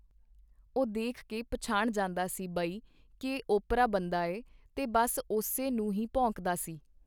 ਉਹ ਦੇਖ ਕੇ ਪਛਾਣ ਜਾਂਦਾ ਸੀ ਬਈ ਇਹ ਓਪਰਾ ਬੰਦਾ ਐ ਤੇ ਬਸ ਓਸੇ ਨੂੰ ਹੀ ਭੌਂਕਦਾ ਸੀ.